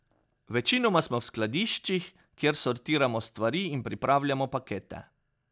Večinoma smo v skladiščih, kjer sortiramo stvari in pripravljamo pakete.